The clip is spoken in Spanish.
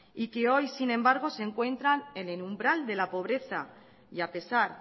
y que hoy sin embargo se encuentran en el umbral de la pobreza y a pesar